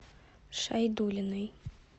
шайдуллиной